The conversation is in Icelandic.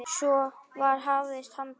Svo var hafist handa.